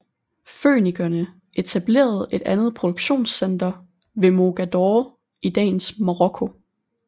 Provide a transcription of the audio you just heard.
Fønikerne etablerede et andet produktionssenter ved Mogador i dagens Marokko